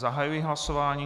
Zahajuji hlasování.